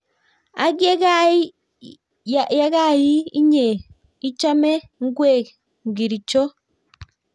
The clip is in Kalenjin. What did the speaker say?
Ang yekai iih inyee ichomee ngweek ngirchoo